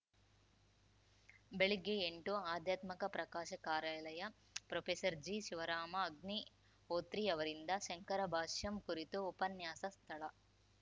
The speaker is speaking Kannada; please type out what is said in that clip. ಬೆಳಿಗ್ಗೆ ಎಂಟು ಆಧ್ಯಾತ್ಮ ಪ್ರಕಾಶ ಕಾರ್ಯಾಲಯ ಪ್ರೊಫೆಸರ್ ಜಿ ಶಿವರಾಮ ಅಗ್ನಿಹೋತ್ರಿ ಅವರಿಂದ ಶಾಂಕರಭಾಷ್ಯಂ ಕುರಿತು ಉಪನ್ಯಾಸ ಸ್ಥಳ